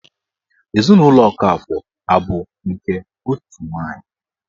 Ezinụlọ Okafọ abụ nke otu nwanyị?